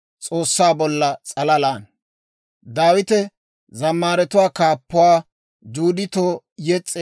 S'oossaa s'alalan taani shemppuwaa demmaad; ta atotetsay aappe yee.